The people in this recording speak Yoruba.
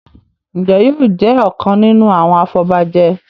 Njé yóò jé ọkàn nínú àwọn afobaje?